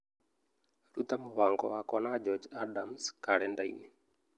ruta mũbango wakwa na George Adams karenda-inĩ